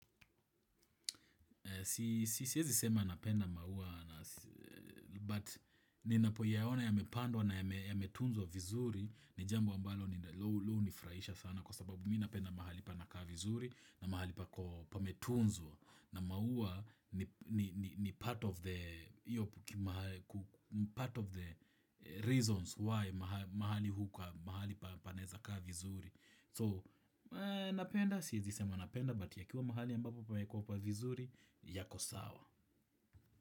Siezi sema napenda maua But Ninapoyaona yamepandwa na yametunzwa vizuri. Ni jambo ambalo ni huwa hunifurahisha sana. Kwa sababu mi napenda mahali panakaa vizuri. Na mahali pametunzwa. Na maua ni part of the Part of the Reasons why mahali hukaa. Mahali panaeza kaa vizuri So napenda. Siezi sema napenda But yakiwa mahali ambapo pamewekwa vizuri yako sawa.